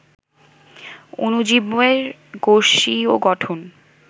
অণুজীবের কোষীয় গঠন